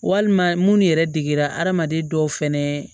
Walima minnu yɛrɛ degera adamaden dɔw fɛnɛ